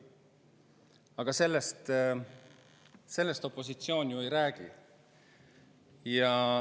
Aga sellest opositsioon ju ei räägi.